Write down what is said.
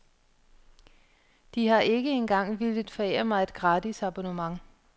De har ikke engang villet forære mig et gratis abonnement.